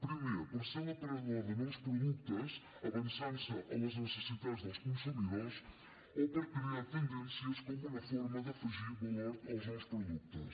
primer perquè és l’aparador de nous productes avançant se a les necessitats dels consumidors o perquè crea tendències com una forma d’afegir valor als nous productes